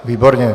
Výborně.